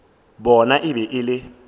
bona e be e le